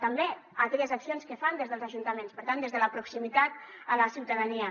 també aquelles accions que fan des dels ajuntaments per tant des de la proximitat a la ciutadania